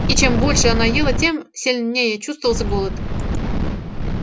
и чем больше она ела тем сильнее чувствовался голод